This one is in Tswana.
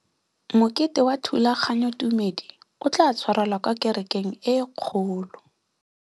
Mokete wa thulaganyôtumêdi o tla tshwarelwa kwa kerekeng e kgolo.